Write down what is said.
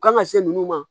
Kan ka se nunnu ma